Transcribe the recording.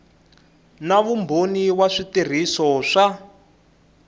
na vumbhoni wa switirhiso swa